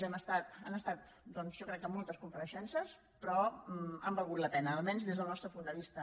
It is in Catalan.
han estat jo crec que moltes compareixences però han valgut la pena almenys des del nostre punt de vista